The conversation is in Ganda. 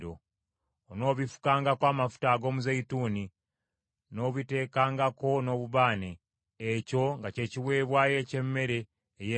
Onoobifukangako amafuta ag’omuzeeyituuni, n’obiteekangako n’obubaane; ekyo nga kye kiweebwayo eky’emmere ey’empeke.